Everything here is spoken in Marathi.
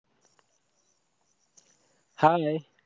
hi